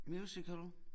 Musical